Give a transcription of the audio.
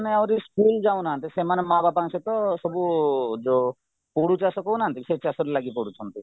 ମାନେ ଆହୁରି ସ୍କୁଲ ଯାଉନାହାନ୍ତି ସେମାନେ ମାଆ ବାପାଙ୍କ ସହିତ ସବୁ ପୋଡୁ ଚାଷ କହୁନାହାନ୍ତି ସେଚାଷ ରେ ଲାଗିପଡୁଛନ୍ତି